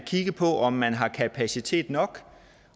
kigge på om man har kapacitet nok